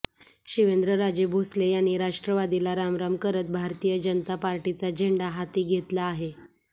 शिवेंद्रराजे भोसले यांनी राष्ट्रवादीला रामराम करत भारतीय जनता पार्टीचा झेंडा हाती घेतला आहे